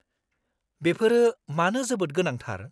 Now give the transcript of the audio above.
-बेफोरो मानो जोबोद गोनांथार?